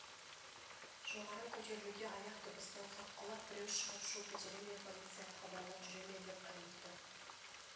жоғары көтерілуге аяқ дыбысынан саққұлақ біреу шығып шу көтере ме полицияға хабарлап жүре ме деп қаймықты